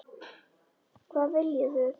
Hvað viljið þið!